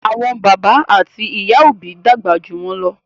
Àwọn bàbá àti ìyá òbí dàgbà jù wọn ló.